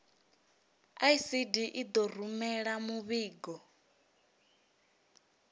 icd i ḓo rumela muvhigo